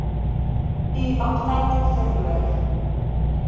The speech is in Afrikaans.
u aptyt verloor